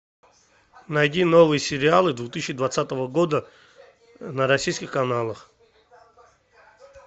найди новые сериалы две тысячи двадцатого года на российских каналах